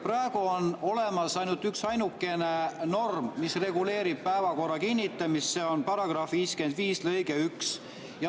Praegu on olemas ainult üksainukene norm, mis reguleerib päevakorra kinnitamist, see on § 55 lõige 1.